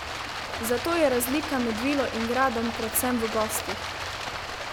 Zato je razlika med vilo in gradom predvsem v gostih!